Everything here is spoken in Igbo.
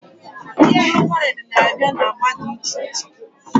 Mkpuru vain nabia na agba di iche iche